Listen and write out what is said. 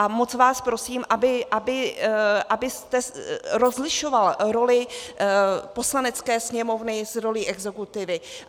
A moc vás prosím, abyste rozlišoval roli Poslanecké sněmovny s rolí exekutivy.